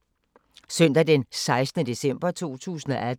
Søndag d. 16. december 2018